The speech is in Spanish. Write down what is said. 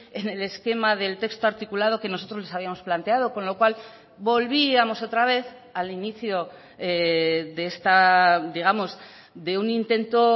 en el esquema del texto articulado que nosotros les habíamos planteado con lo cual volvíamos otra vez al inicio de esta digamos de un intento